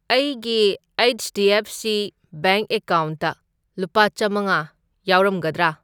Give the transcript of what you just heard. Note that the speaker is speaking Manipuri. ꯑꯩꯒꯤ H D F C bank ꯑꯦꯀꯥꯎꯟꯠꯇ ꯂꯨꯄꯥ ꯆꯥꯝꯃꯉꯥ ꯌꯥꯎꯔꯝꯒꯗ꯭ꯔꯥ?